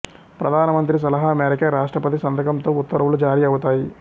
ప్రధానమంత్రి సలహా మేరకే రాష్ట్రపతి సంతకంతో ఉత్తర్వులు జారీ అవుతాయి